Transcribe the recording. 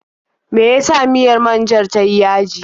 Me ya sa miyar man-jar ta yi yaji.